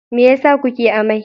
Me yasa kuke amai?